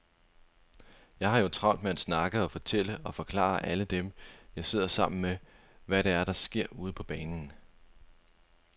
Jeg har jo travlt med at snakke og fortælle og forklare alle dem, jeg sidder sammen med, hvad det er, der sker ude på banen.